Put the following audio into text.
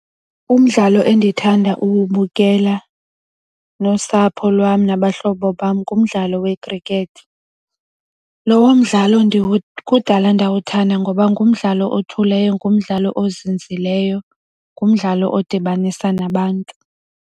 Umdlalo endithanda ukuwubukela nosapho lwam nabahlobo bam ngumdlalo wekhrikethi. Lowo mdlalo kudala ndawuthanda ngoba ngumdlalo othuleyo, ngumdlalo ozinzileyo ngumdlalo odibanisa nabantu.